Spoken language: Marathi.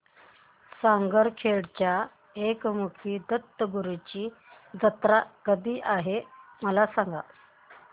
सारंगखेड्याच्या एकमुखी दत्तगुरूंची जत्रा कधी आहे मला सांगा